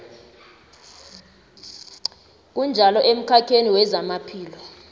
kunjalo emkhakheni wezamaphilo